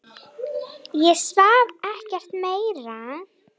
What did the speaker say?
Ég svaf ekkert meira.